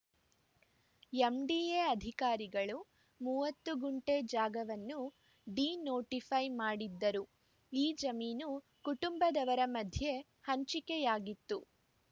MDA ಅಧಿಕಾರಿಗಳು ಮೂವತ್ತು ಗುಂಟೆ ಜಾಗವನ್ನು ಡಿನೋಟಿಫೈ ಮಾಡಿದ್ದರು ಈ ಜಮೀನು ಕುಟುಂಬದವರ ಮಧ್ಯೆ ಹಂಚಿಕೆಯಾಗಿತ್ತು